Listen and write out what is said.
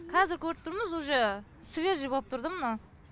қазір көріп тұрмыз уже свежий болып тұр да мынау